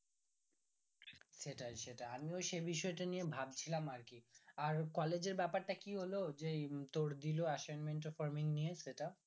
সেটাই সেটাই আমিও সেই বিষয়টা নিয়ে ভাবছিলাম আরকি আর collage এর ব্যাপার টা কি হলো যেই তোর দিলো assignment tassignment নিয়ে সেটা